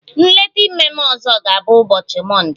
Nleta ime m ọzọ ga-abụ ụbọchi mọnde